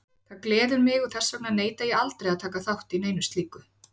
Það gleður mig og þess vegna neita ég aldrei að taka þátt í neinu slíku.